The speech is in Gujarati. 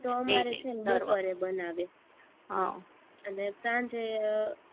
તો અમારે છે ને બપોરે બનાવે, અમ અને સાંજે